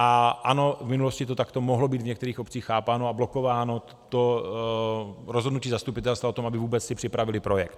A ano, v minulosti to takto mohlo být v některých obcích chápáno a blokováno to rozhodnutí zastupitelstva o tom, aby si vůbec připravili projekt.